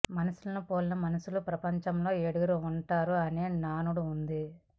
మనుషులను పోలిన మనుషులు ప్రపంచంలో ఏడుగురు ఉంటారు అనే నానుడు ఉంది